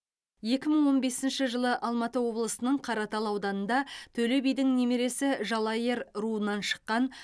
екі мың он бесінші жылы алматы облысының қаратал ауданында төле бидің немересі жалайыр руынан шыққан